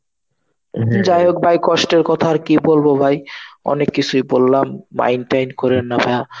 যাই হোক ভাই কষ্টের কথা আর কি বলবো ভাই, অনেক কিছুই বললাম. mind টাইনদ করেন না ভায়া.